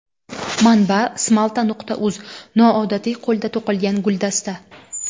Manba: smalta.uz Noodatiy, qo‘lda to‘qilgan guldasta.